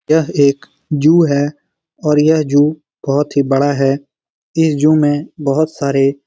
यह एक जू है और यह जू बहुत ही बड़ा है इस जू में बहुत सारे --